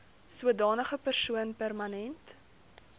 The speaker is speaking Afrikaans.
sodanige persoon permanent